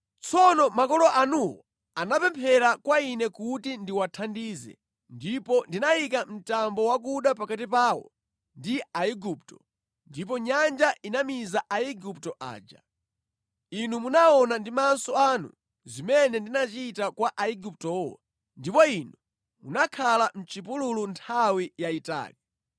Tsono makolo anuwo anapemphera kwa Ine kuti ndiwathandize, ndipo ndinayika mtambo wakuda pakati pawo ndi Aiguptowo, ndipo Nyanja inamiza Aigupto aja. Inu munaona ndi maso anu zimene ndinachita kwa Aiguptowo ndipo inu munakhala mʼchipululu nthawi yayitali.